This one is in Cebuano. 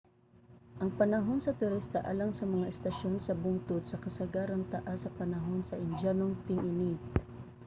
ang panahon sa turista alang sa mga estasyon sa bungtod sa kasagaran taas sa panahon sa indyanong ting-init